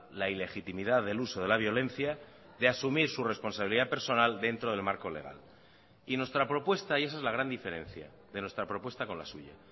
la ilegitimidad del uso de la violencia de asumir su responsabilidad personal dentro del marco legal y nuestra propuesta y esa es la gran diferencia de nuestra propuesta con la suya